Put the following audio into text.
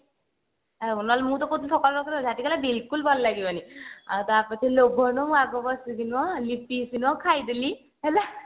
ଆଉ କଣ ନହେଲେ ମୁଁ ତ କହୁଥିଲି ସକାଳକୁ ରଖିଦେବ ଝାଟି କହିଲା ବିଲକୁଲ ଭଲ ଲାଗିବନି ଆଉ ଟ ପରେ ତ ଲୋଭ ହେଲା ମା ପୁଅ ବସିକି ନୁହଁ ଖାଇଦେଲି ହେଲା